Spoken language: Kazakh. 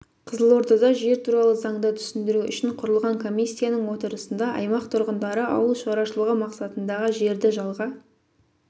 қызылордада жер туралы заңды түсіндіру үшін құрылған комиссияның отырысында аймақ тұрғындары ауыл шаруашылығы мақсатындағы жерді жалға